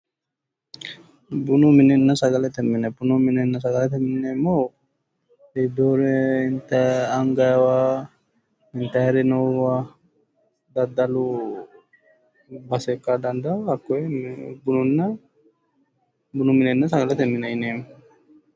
Bunu minenna sagale mine bunu minenna sagalete mine yineemmohu iibbeyore angaywa intayri noowa daddalu base ikka dandaanno hakkoye bunu minenna sagalete mine yineemmo